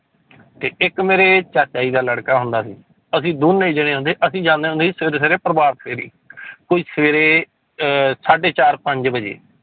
ਤੇ ਇੱਕ ਮੇਰੇ ਚਾਚਾ ਜੀ ਦਾ ਲੜਕਾ ਹੁੰਦਾ ਸੀ ਅਸੀਂ ਦੋਨੇ ਚਲੇ ਜਾਂਦੇ, ਅਸੀਂ ਜਾਂਦੇ ਹੁੰਦੇ ਸੀ ਸਵੇਰੇ ਸਵੇਰੇ ਪ੍ਰਭਾਤ ਫੇਰੀ ਕੋਈ ਸਵੇਰੇ ਅਹ ਸਾਢੇ ਚਾਰ ਪੰਜ ਵਜੇ।